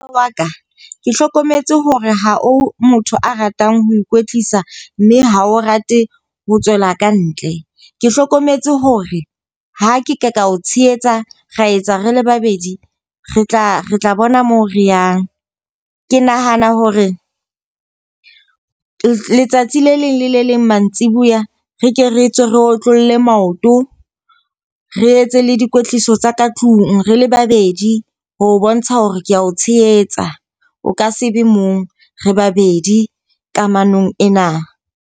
Wa ka ke hlokometse hore ha o motho a ratang ho ikwetlisa mme ha o rate ho tswela ka ntle. Ke hlokometse hore ha ke ka ka o tshehetsa ra etsa rele babedi, re tla re tla bona moo re yang. Ke nahana hore letsatsi le leng le le leng mantsiboya re ke re tswe re otlolle maoto, re etse le dikwetliso tsa ka tlung re le babedi ho bontsha hore kea o tshehetsa, o ka se be mong, re babedi kamanong ena.